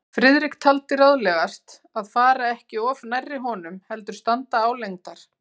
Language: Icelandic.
Friðrik taldi ráðlegast að fara ekki of nærri honum, heldur standa álengdar.